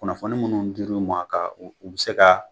Kunnafoni minnu dir' u ma , ka a u bi se ka